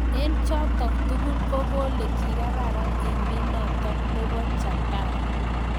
Eng chotok tugul ko kolee kikararan emeet notok neboo japana